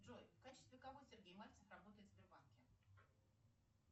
джой в качестве кого сергей мальцев работает в сбербанке